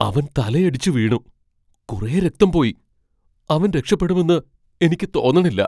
അവൻ തലയടിച്ചു വീണു , കുറെ രക്തം പോയി. അവൻ രക്ഷപ്പെടുമെന്ന് എനിക്ക് തോന്നണില്ല .